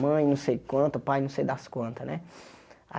Mãe não sei quantas, pai não sei das quantas, né?